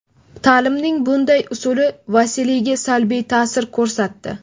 Ta’limning bunday usuli Vasiliyga salbiy ta’sir ko‘rsatdi.